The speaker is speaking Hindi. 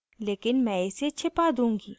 लेकिन मैं इसे छिपा दूँगी